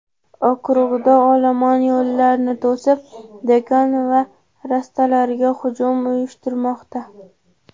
Okrugda olomon yo‘llarni to‘sib, do‘kon va rastalarga hujum uyushtirmoqda.